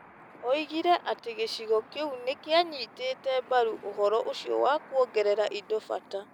Oigire atĩ gĩcigo kĩu nĩ kĩanyitĩte mbaru ũhoro ũcio wa kũongerera indo bata.